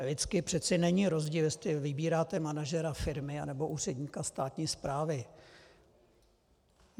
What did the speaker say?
Lidsky přece není rozdíl, jestli vybíráte manažera firmy nebo úředníka státní správy.